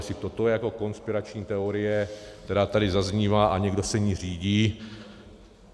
Jestli toto je jako konspirační teorie, která tady zaznívá, a někdo se jí řídí...